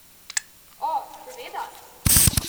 O, seveda.